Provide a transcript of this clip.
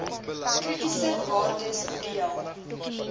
kritiese waardes deel